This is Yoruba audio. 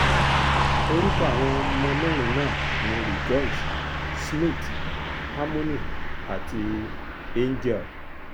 orúkọ àwọn ọmọ mẹ́rin náà ni rejoice schmidt harmony àti angel